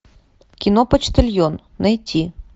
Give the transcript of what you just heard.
кино почтальон найти